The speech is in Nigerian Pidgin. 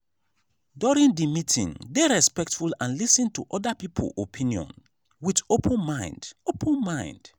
during di meeting dey respectful and lis ten to oda people opinion with open mind open mind